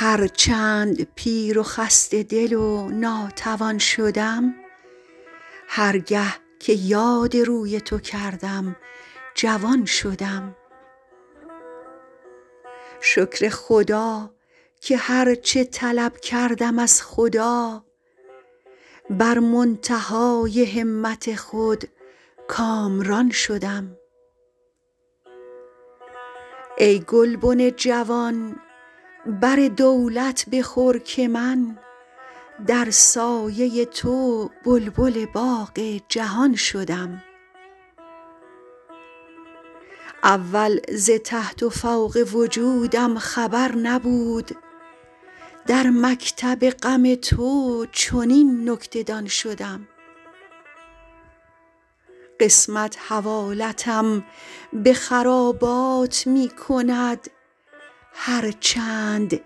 هر چند پیر و خسته دل و ناتوان شدم هر گه که یاد روی تو کردم جوان شدم شکر خدا که هر چه طلب کردم از خدا بر منتهای همت خود کامران شدم ای گلبن جوان بر دولت بخور که من در سایه تو بلبل باغ جهان شدم اول ز تحت و فوق وجودم خبر نبود در مکتب غم تو چنین نکته دان شدم قسمت حوالتم به خرابات می کند هر چند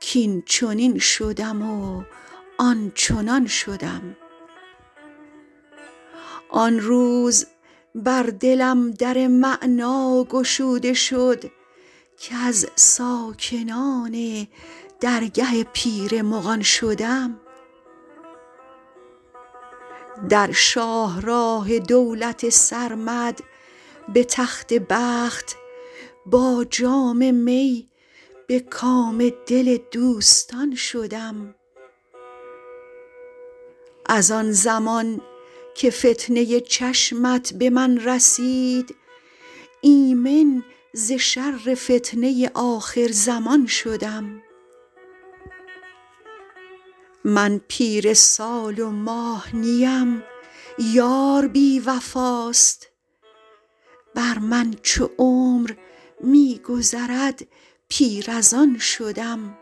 کاینچنین شدم و آنچنان شدم آن روز بر دلم در معنی گشوده شد کز ساکنان درگه پیر مغان شدم در شاه راه دولت سرمد به تخت بخت با جام می به کام دل دوستان شدم از آن زمان که فتنه چشمت به من رسید ایمن ز شر فتنه آخرزمان شدم من پیر سال و ماه نیم یار بی وفاست بر من چو عمر می گذرد پیر از آن شدم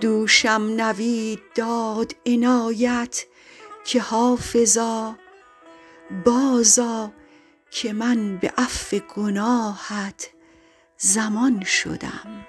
دوشم نوید داد عنایت که حافظا بازآ که من به عفو گناهت ضمان شدم